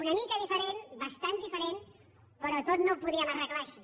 una mica diferent bastant diferent però tot no ho podíem arreglar així